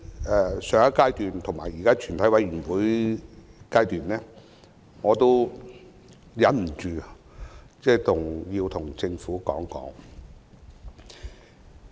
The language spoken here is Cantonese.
在上一階段及現時全體委員會審議階段，我都忍不住有說話要對政府說。